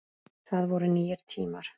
Það voru nýir tímar.